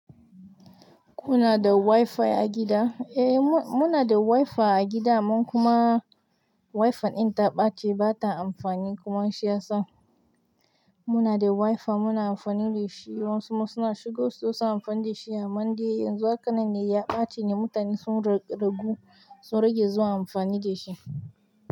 Kuna da Wi-Fi a gida? Eh, mu-muna da Wi-Fi a gida. Amman kuma Wi-Fi ɗin ta ɓace ba ta amfani kuma shi yasa muna da Wi-Fi muna amfani da shi. Amma wasu ma suna shigo shi suna amfani dashi amman dai yanzu haka nan ne ya ɓaci muta ne sun do-- dogu sun rage zuwa amfani da shi.